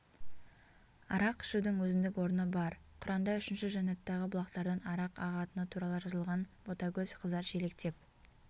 арақ ішудің өзіндік орны бар құранда үшінші жәнаттағы бұлақтардан арақ ағатыны туралы жазылған ботакөз қыздар шелектеп